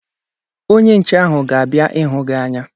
Onye nche ahụ ga-abịa ịhụ gị anya